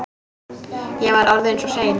Ég var orðinn svo seinn.